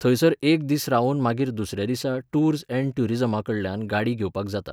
थंयसर एक दीस रावून मागीर दुसऱ्या दिसा टूर्स एन्ड ट्यूरिझमाकडल्यान गाडी घेवपाक जाता.